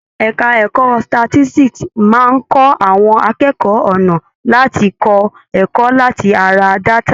Ẹka ẹ̀kọ́ statistics máa ń kọ́ àwọn akẹ́kọ̀ọ́ ọ̀nà láti kọ́ ẹ̀kọ́ láti ara data.